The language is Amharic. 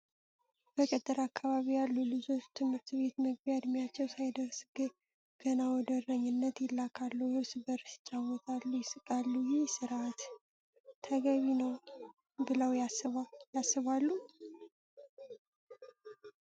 በገጠር አካባቢ ያሉ ልጆች ትምህርት ቤት መግቢያ እድሜያቸው ሳይደርስ ገና ወደ እረኝነት ይላካሉ። እርስ በርስ ይጫወታሉ፣ ይስቃሉ። ይህ ሥርአት ግን ተገቢ ነው ብለው ያስባሉ?